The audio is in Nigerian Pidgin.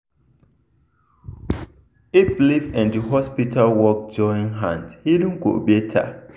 if belief and hospital work join hand healing go better.